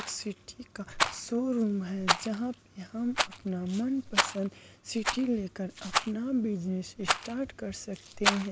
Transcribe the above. एक सिटी का showroom है। जहाँ पर हम मनपसंद सिटी लेकर अपना बिजनेस स्टार्ट कर सकते हैं।